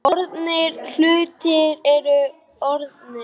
Orðnir hlutir eru orðnir.